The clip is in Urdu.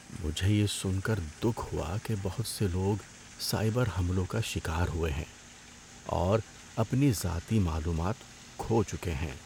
مجھے یہ سن کر دکھ ہوا کہ بہت سے لوگ سائبر حملوں کا شکار ہوئے ہیں اور اپنی ذاتی معلومات کھو چکے ہیں۔